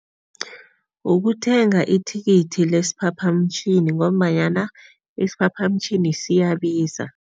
Ukuthenga ithikithi lesiphaphamtjhini ngombanyana isiphaphamtjhini siyabiza.